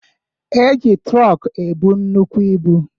E ji trọk ebu nnukwu ibu